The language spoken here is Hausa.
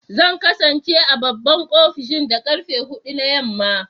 Zan kasance a babban ofishin da karfe hudu na yamma